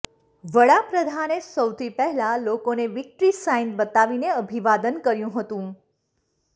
વડાપ્રધાને સૌથી પહેલા લોકોને વિક્ટ્રી સાઈન બતાવીને અભિવાદન કર્યુ હતું